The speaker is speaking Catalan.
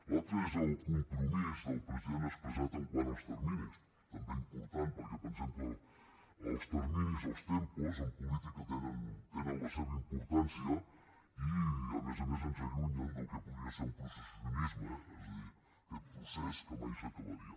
l’altra és el compromís del president expressat quant als terminis també important perquè pensem que els terminis els tempos en política tenen la seva importància i a més a més ens allunyen del que podria ser un processisme és a dir aquest procés que mai s’acabaria